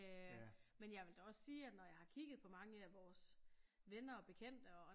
Øh men jeg vil da også sige at når jeg har kigget på mange af vores venner og bekendte og øh